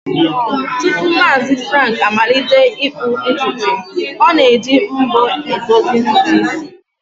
Tupu Maazi Frank amalite ịkpụ ntutu, o na-eji mbo e dozi ntutu isi